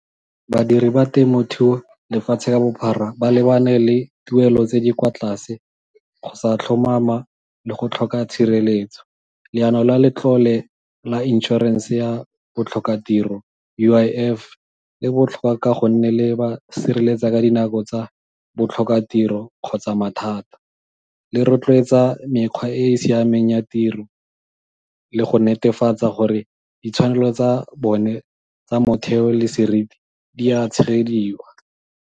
Badiri ba temothuo lefatshe ka bophara ba lebane le tuelo tse di kwa tlase, go sa tlhomama, le go tlhoka tshireletso. Leano la letlole la insurance ya botlhokatiro U_I_F le botlhokwa ka go nne le ba sireletsa ka dinako tsa botlhokatiro kgotsa mathata. Le rotloetsa mekgwa e e siameng ya tiro le go netefatsa gore ditshwanelo tsa bone tsa motheo le seriti di a tshegediwa.